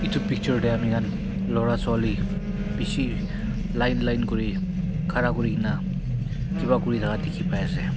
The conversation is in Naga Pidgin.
Etu bethor dae ami khan beshi line line kure khara kurikena kiba kuri thaka dekhe pai ase.